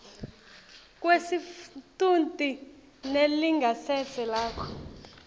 kwesitfunti nelingasese lakho